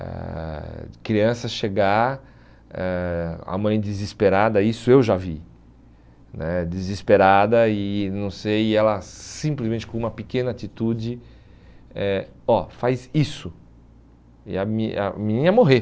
a criança chegar, ãh a mãe desesperada, isso eu já vi né, desesperada e não sei, e ela simplesmente com uma pequena atitude, eh ó, faz isso, e a me e a menina ia morrer.